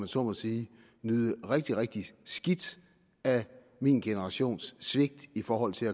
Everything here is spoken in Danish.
så må sige at nyde rigtig rigtig skidt af min generations svigt i forhold til